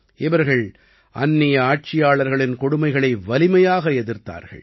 இவர்கள் அந்நிய ஆட்சியாளர்களின் கொடுமைகளை வலிமையாக எதிர்த்தார்கள்